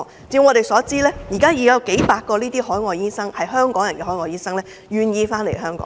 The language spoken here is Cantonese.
據我們所知，現時已經有數百名這類屬香港人於海外畢業的醫生願意回港。